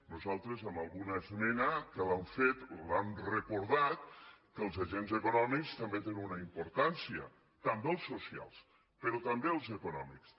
nosaltres amb alguna esmena que li hem fet li hem recordat que els agents econòmics també te·nen una importància també els socials però també els econòmics